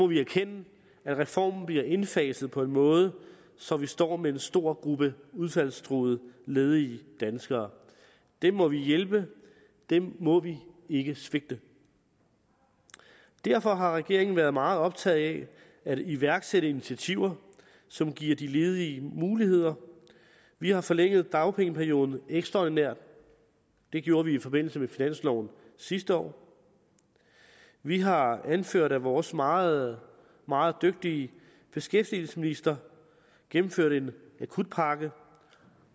vi erkende at reformen bliver indfaset på en måde så vi står med en stor gruppe udfaldstruede ledige danskere dem må vi hjælpe dem må vi ikke svigte derfor har regeringen været meget optaget af at iværksætte initiativer som giver de ledige muligheder vi har forlænget dagpengeperioden ekstraordinært det gjorde vi i forbindelse med finansloven sidste år vi har anført at vores meget meget dygtige beskæftigelsesminister gennemførte en akutpakke